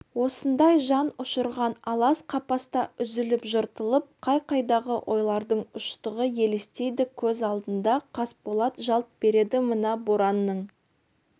осындай жан ұшырған алас-қапаста үзіліп-жыртылып қай-қайдағы ойлардың ұштығы елестейді көз алдында қасболат жалт береді мына боранның